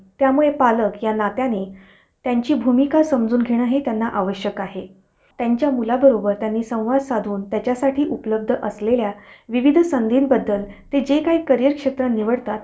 अह बघा redmi आणि oneplus हि दोनी वेग वेगडी company आहे. ठीक है. तर redmi हा एक वेगडा brand झाला.